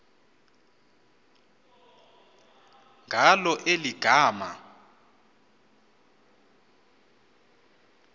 ngalo eli gama